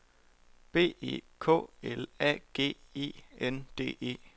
B E K L A G E N D E